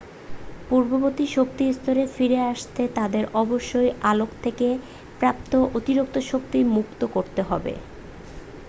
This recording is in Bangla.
পূর্ববর্তী শক্তি স্তরে ফিরে আসতে তাদের অবশ্যই আলোক থেকে প্রাপ্ত অতিরিক্ত শক্তি মুক্ত করতে হবে